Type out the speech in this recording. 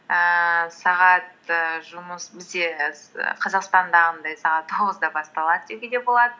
ііі сағат і жұмыс бізде і қазақстандағындай сағат тоғызда басталады деуге де болады